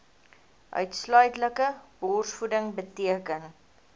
uitsluitlike borsvoeding beteken